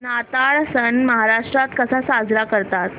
नाताळ सण महाराष्ट्रात कसा साजरा करतात